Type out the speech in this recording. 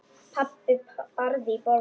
Pabbi barði í borðið.